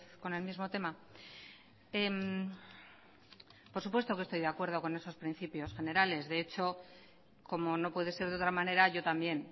con el mismo tema por supuesto que estoy de acuerdo con esos principios generales de hecho como no puede ser de otra manera yo también